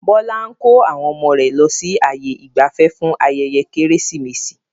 Bọlá ń kó àwọn ọmọ rẹ lọ sí ààyè ìgbafẹ́ fún ayẹyẹ Kérésìmesì